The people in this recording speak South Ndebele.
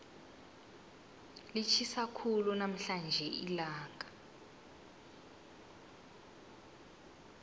litjhisa khulu namhlanje ilanga